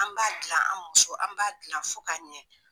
An b'a dilan an musow, an b'a dilan fo ka ɲɛ.